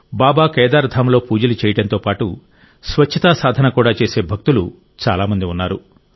బాబా కేదార్ ధామ్లో పూజలు చేయడంతో పాటు స్వచ్చతా సాధన కూడా చేసే భక్తులు చాలా మంది ఉన్నారు